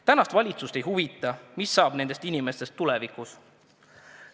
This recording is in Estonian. Tänast valitsust ei huvita, mis saab nendest inimestest tulevikus.